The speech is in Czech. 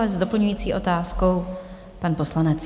A s doplňující otázkou pan poslanec.